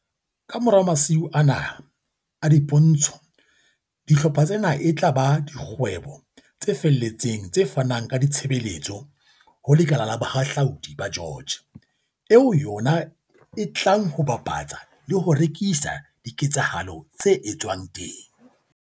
Kamora masiu ana a dipo ntsho, dihlopha tsena e tla ba dikgwebo tse felletseng tse fanang ka ditshebeletso ho le kala la Bohahludi ba George, eo yona e tlang ho bapatsa le ho rekisa diketsahalo tse etswang teng.